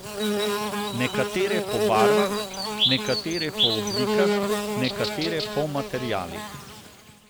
Nekatere po barvah, nekatere po oblikah, nekatere po materialih ...